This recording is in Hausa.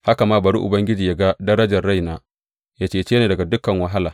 Haka ma bari Ubangiji yă ga darajar raina, yă cece ni daga dukan wahala.